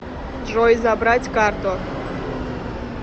джой забрать карту